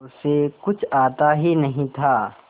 उसे कुछ आता ही नहीं था